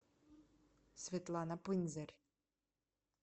светлана пынзарь